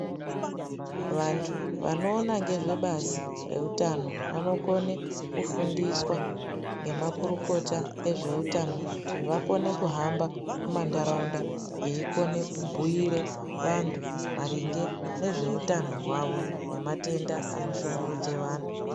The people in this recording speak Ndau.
Vantu vano ona ngezve basi rehutano vanokone kufundiswa nemakurukota ezvehutano kuti vakone kuhamba mandarawunda veyikone kubuyire vantu maringe nezvehutano hwavo ngematenda anoshungurudze vanhu.